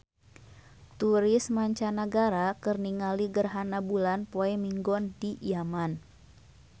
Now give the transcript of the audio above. Turis mancanagara keur ningali gerhana bulan poe Minggon di Yaman